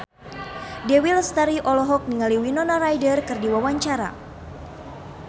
Dewi Lestari olohok ningali Winona Ryder keur diwawancara